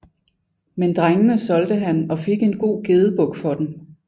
Men drengene solgte han og fik en god gedebuk for dem